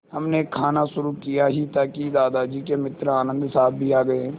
हमने खाना शुरू किया ही था कि दादाजी के मित्र आनन्द साहब भी आ गए